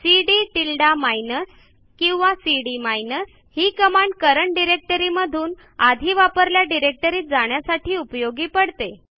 CD tilde minus किंवा CD minus ही command current directory मधून आधी वापरलेल्या डिरेक्टरीत जाण्यासाठी उपयोगी पडते